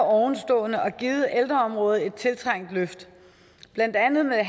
ovenstående og givet ældreområdet et tiltrængt løft blandt andet med